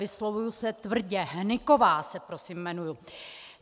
Vyslovuji se tvrdě - Hnyková se prosím jmenuji.